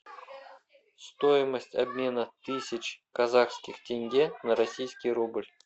стоимость обмена тысяч казахских тенге на российский рубль